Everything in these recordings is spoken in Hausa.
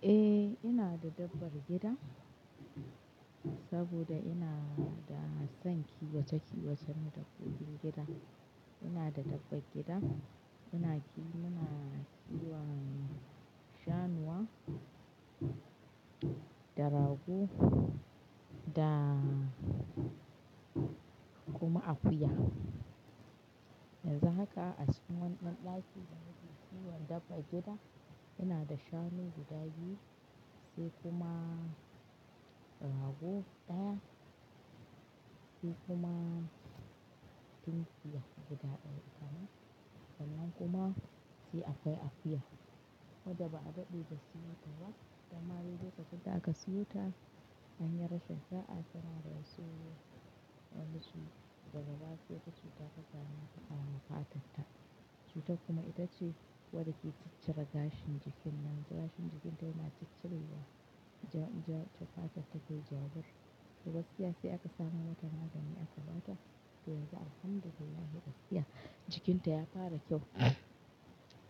Eh ina da dabbar gida saboda ina da son kiwata kiwatar dabbobin gida. Ina da dabbar gida, muna kiwon shanuwa da rago da kuma akuya. Yanzu haka a cikin wani ɗaki da muke kiwon dabbar gida, ina da shanu guda biyu sai kuma rago ɗaya sai kuma tunkiya guda ɗaya itama, sannan kuma sai akwai akuya. Wadda ba a daɗe da siyo ta ba, danma dai lokacin da aka siyo ta. An yi rashin saa ta rasu wadan su daga baya sai wata cuta ta same ta a fatar ta. Cutan kuma ita ce wadda ke ciccire gashin jikin nan. Gashin jikin ta yana ciccirewa, jafatar ta ke jawur. To gaskiya sai aka samo mata magani aka ba ta, dai ga alhamdulillah gaskiya jikinta ya fara kyau.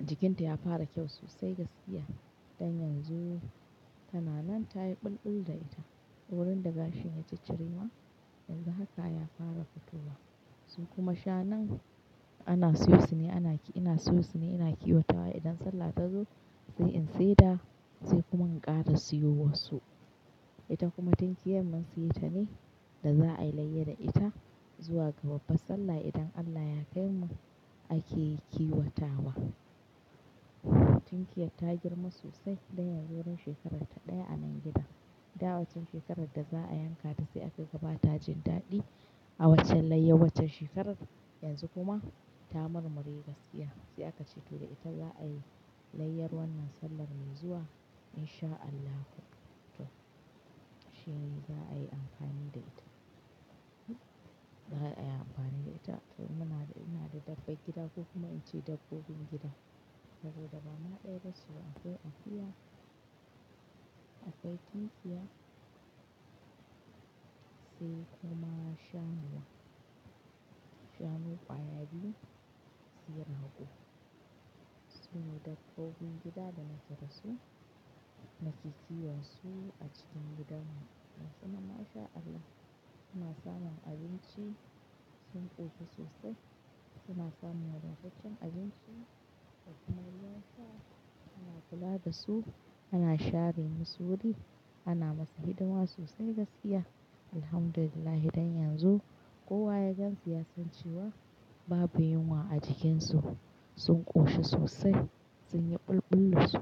Jikinta ya fara kyau sosai gaskiya. Dan yanzu tana nan ta yi bulbul da ita. Wurin da gashin ya ciccire ma, yanzu haka ya fara fitowa. Su kuma shanun ana siyo shine ana kiwo, ina siyo shine ina kiwatawa idan sallah ta zo sai in seda sai kuma in ƙara siyo wa su. Ita kuma tunkiyar mun siyo ta ne da za ai layyi da ita zuwa babbar sallah idan Allah ya kaimu ake kiwata wa tunkiyar ta girma sosai dan yanzu wurin shekarar ta ɗaya a nan gidan. Dawaccan shekarar da za a yanka ta sai aka gaba ta jin daɗi a waccen layyar waccan shekarar. Yanzu kuma ta mur mure gaskiya. Sai aka ce to da ita za a yi layyar wannan sallan mai zuwa in sha Allahu. To shin za'ai amfani da ita. Za'a yi amfani da ita to ina da dabbar gida ko kuma ince dabbobin gida saboda bama da yace ba akwai akuya akwai tunkiya sai kuma shannuwa. Shanu ƙwaya biyu sai rago. Sune dabbobin gida danake dasu nake kiwon su a cikin gidan mu. Gasu nan masha Allah suna samun abinci sun ƙoshi sosai suna samun wada taccen abinci kuma na sa ana kula da su ana share musu wuri ana musu hidima sosai gaskiya. Alhamdulillah dan yanzu kowa ya gansu ya san cewa babu yunwa a jikinsu sun ƙoshi sosai sun yi bulbul dasu.